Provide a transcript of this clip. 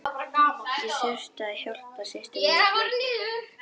Ég þurfti að hjálpa systur minni að flytja.